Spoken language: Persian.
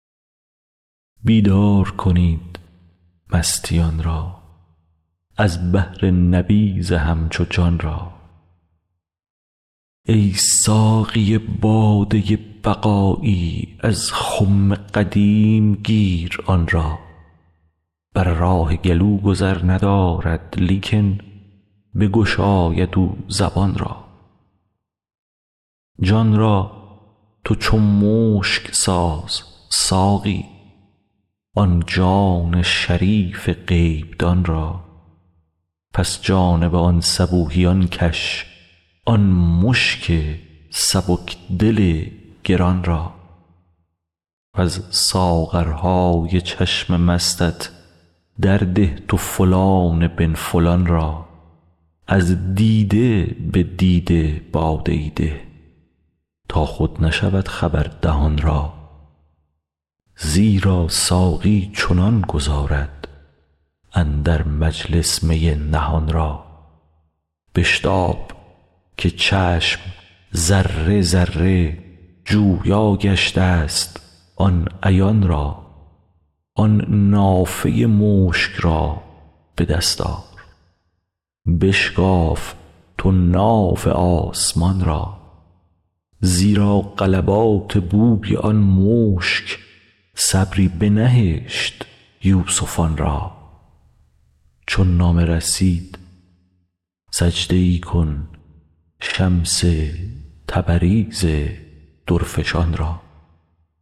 بیدار کنید مستیان را از بهر نبیذ همچو جان را ای ساقی باده بقایی از خم قدیم گیر آن را بر راه گلو گذر ندارد لیکن بگشاید او زبان را جان را تو چو مشک ساز ساقی آن جان شریف غیب دان را پس جانب آن صبوحیان کش آن مشک سبک دل گران را وز ساغرهای چشم مستت درده تو فلان بن فلان را از دیده به دیده باده ای ده تا خود نشود خبر دهان را زیرا ساقی چنان گذارد اندر مجلس می نهان را بشتاب که چشم ذره ذره جویا گشتست آن عیان را آن نافه مشک را به دست آر بشکاف تو ناف آسمان را زیرا غلبات بوی آن مشک صبری بنهشت یوسفان را چون نامه رسید سجده ای کن شمس تبریز درفشان را